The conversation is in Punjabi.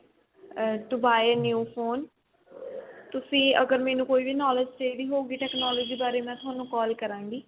um to buy a new phone ਤੁਸੀਂ ਮੈਨੂੰ ਅਗਰ ਕੋਈ ਵੀ knowledge ਚਾਹੀਦੀ ਹੋਏਗੀ technology ਬਾਰੇ ਮੈਂ ਥੋਨੂੰ call ਕਰਾਂਗੀ